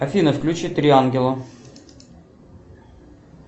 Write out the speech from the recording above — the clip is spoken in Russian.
афина включи три ангела